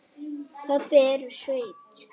Pabbi er úr sveit.